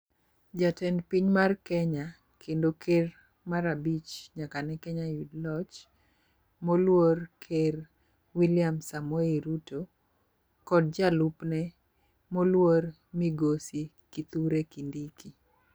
Jatend piny mar kenya kendo ker mar abich nyaka ne kenya yud loch moluor ker wiliam Samoei Ruto kod jalupne moluor migosi kithure Kindiki.